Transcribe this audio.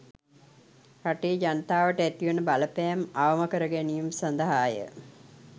රටේ ජනතාවට ඇතිවන බලපෑම අවම කරගැනීම සඳහාය